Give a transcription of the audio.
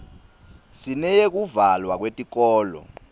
sineyekuvalwa kwetikolo